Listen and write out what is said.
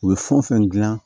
U bɛ fɛn o fɛn dilan